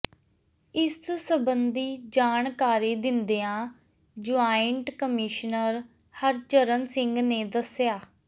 ਇਸ ਸਬੰਧੀ ਜਾਣਕਾਰੀ ਦਿੰਦਿਆਂ ਜੁਆਇੰਟ ਕਮਿਸ਼ਨਰ ਹਰਚਰਨ ਸਿੰਘ ਨੇ ਦੱਸਿਆ